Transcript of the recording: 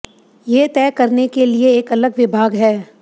ये तय करने के लिए एक अलग विभाग है